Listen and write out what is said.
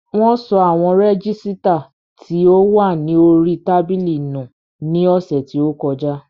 Wón sọ àwọn rẹ́gísítà tí ó wà ní orí tábìlì nù ní ọ̀sẹ̀ tí ó kọjá